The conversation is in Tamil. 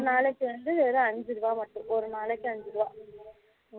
ஒரு நாளைக்கு வந்து வெறும் ஐந்து ரூபாய் மட்டும் ஒரு நாளைக்கு ஐந்து ரூபாய்